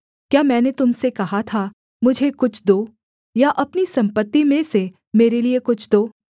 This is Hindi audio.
क्या मैंने तुम से कहा था मुझे कुछ दो या अपनी सम्पत्ति में से मेरे लिये कुछ दो